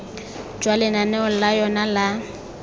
jwa lenaneo la yona la